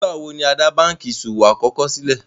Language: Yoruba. Nígbàwọ̀ ni á dá bankí iṣọwọ̀ àkọ́kọ̀ sílẹ̀?